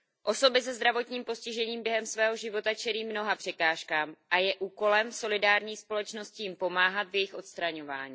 Osoby se zdravotním postižením během svého života čelí mnoha překážkám a je úkolem solidární společnosti jim pomáhat v jejich odstraňování.